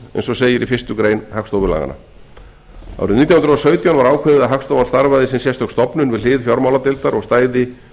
eins og segir í fyrstu grein hagstofulaganna árið nítján hundruð og sautján var ákveðið að hagstofan starfaði sem sérstök stofnun við hlið fjármáladeildar og stæði